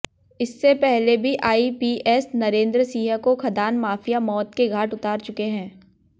इससे पहले भी आईपीएस नरेंद्र सिंह को खदान माफिया मौत के घाट उतार चुके हैं